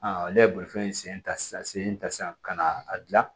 ale ye bolifɛn sen ta sisan sen ta sisan ka na a gilan